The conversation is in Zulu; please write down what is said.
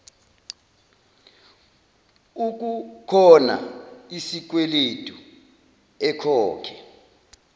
ukukhona isikweledu ekhokhe